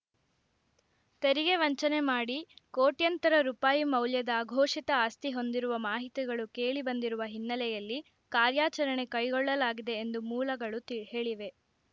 ತೆರಿಗೆ ವಂಚನೆ ಮಾಡಿ ಕೋಟ್ಯಂತರ ರೂಪಾಯಿ ಮೌಲ್ಯದ ಅಘೋಷಿತ ಆಸ್ತಿ ಹೊಂದಿರುವ ಮಾಹಿತಿಗಳು ಕೇಳಿಬಂದಿರುವ ಹಿನ್ನೆಲೆಯಲ್ಲಿ ಕಾರ್ಯಾಚರಣೆ ಕೈಗೊಳ್ಳಲಾಗಿದೆ ಎಂದು ಮೂಲಗಳು ಹೇಳಿವೆ